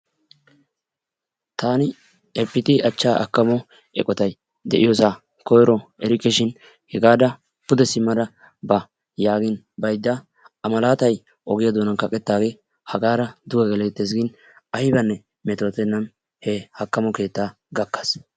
Taani efitii achchaa akamo keettay de'iyoosaa koyri erikkeshiin hegaara pude simmada ba yaagin baydda a malaatay ogiyaa doonan kaqettaagee hagaar duge geleettees gin aybanne metootennan he haakamo keettaa gakkaas.